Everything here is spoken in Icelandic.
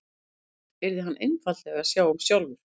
Sumt yrði hann einfaldlega að sjá um sjálfur.